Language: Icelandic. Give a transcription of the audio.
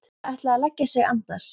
Hann hafði ætlað að leggja sig andar